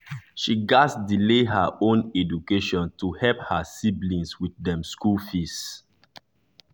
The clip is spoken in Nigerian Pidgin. she gats delay her own education to help her siblings with dem school fees.